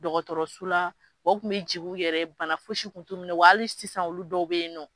Dɔgɔtɔrɔso la wa u kun bɛ jigi u yɛrɛ ye bana fosi kun t'u minɛ wali sisan olu dɔw bɛyinɔ.